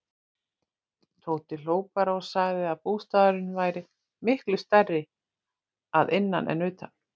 Tóti hló bara og sagði að bústaðurinn væri miklu stærri að innan en utan.